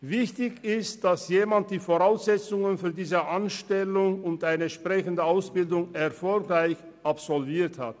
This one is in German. Wichtig ist, dass jemand die Voraussetzungen für diesen Beruf erfüllt und eine entsprechende Ausbildung erfolgreich absolviert hat.